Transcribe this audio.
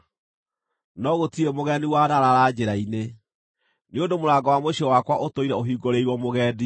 no gũtirĩ mũgeni wanaraara njĩra-inĩ, nĩ ũndũ mũrango wa mũciĩ wakwa ũtũire ũhingũrĩirwo mũgendi,